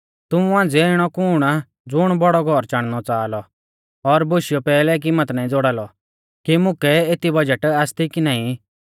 तुमु मांझ़िऐ इणौ कुण आ ज़ुण बड़ौ घौर चाणनौ च़ाहा लौ और बोशियौ पैहलै कीमत नाईं ज़ोड़ा लौ कि मुकै एती बजट आसती की नाईं